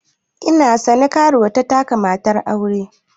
Ina sane, karuwa ta taka matar aure.